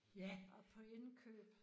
Og er på indkøb